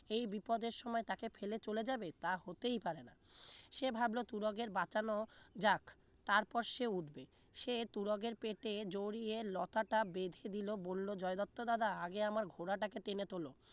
এই বিপদের সময় তাকে ফেলে চলে যাবে তা হতেই পারে না সে ভাবলো তুরগের বাঁচানো যাক তারপর সে উঠবে সে তুরগের পেটে জড়িয়ে লতাটা বেঁধে দিল বলল বলল জয় দত্ত দাদা আগে আমার ঘোড়াটাকে টেনে তোলো